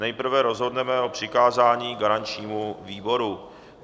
Nejprve rozhodneme o přikázání garančnímu výboru.